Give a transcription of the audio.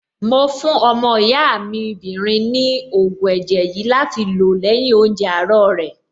Mo fún ọmọ ìyá mi 'bìnrin ní ògùn ẹ̀jẹ̀ yìí láti lò lẹ́yìn oúnjẹ àárọ̀ rẹ̀.